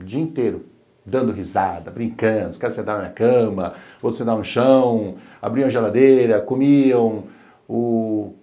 o dia inteiro, dando risada, brincando, os caras sentaram na cama, outros sentaram no chão, abriam a geladeira, comiam, o